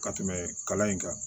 Ka tɛmɛ kalan in kan